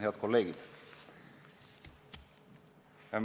Head kolleegid!